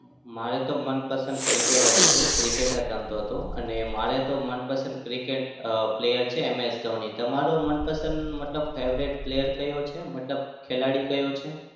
મારે તો મનપસંદ cricket જ હતું. cricket જ રમતો હતો. અને મારે તો મનપસંદ cricket અમ player છે MSDhoni તમારો મનપસંદ મતલબ favorite player કયો છે? મતલબ ખેલાડી કયો છે?